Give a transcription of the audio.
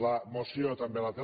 la moció també el té